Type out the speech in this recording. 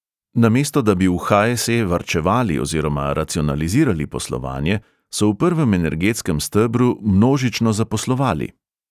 Namesto da bi v ha|es|e| varčevali oziroma racionalizirali poslovanje, so v prvem energetskem stebru množično zaposlovali.